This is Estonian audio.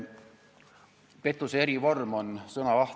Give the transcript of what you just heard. Pettuse erivorm on sõnavaht.